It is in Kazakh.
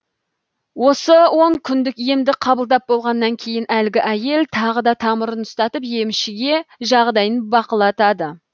осы он күндік емді қабылдап болғаннан кейін әлгі әйел тағы да тамырын ұстатып емшіге жағдайын бақылатады